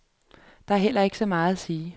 Der er heller ikke så meget at sige.